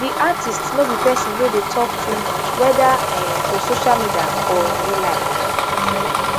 di artist no be pesin wey dey tok too much weda um for social media or in real life